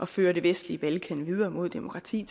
fører det vestlige balkan videre mod demokrati